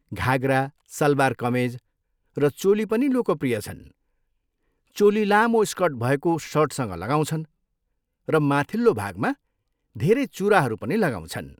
घाघरा, सलवार कमेज र चोली पनि लोकप्रिय छन्। चोली लामो स्कर्ट भएको सर्टसँग लगाउँछन् र माथिल्लो भागमा धेरै चुराहरू पनि लगाउँछन्।